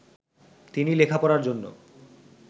তিনি লেখাপড়ার জন্য